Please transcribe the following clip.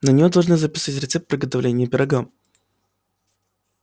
на неё должны записать рецепт приготовления пирога